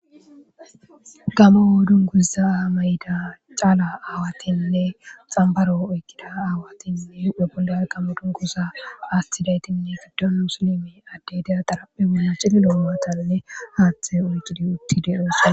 gama wo dunguza aamayida caala aawatinne xambaro oyqqida aawatinne wepunda qamu dunguza astidaytinne fiddon musilimi addedeya daraphe muna cililoomatanne haaththe uncidi uttide oosa